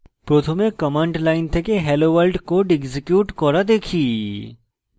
প্রথমে command line থেকে hello world code execute করা দেখি